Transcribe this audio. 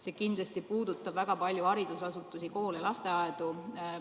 See kindlasti puudutab väga palju ka haridusasutusi – koole ja lasteaedu.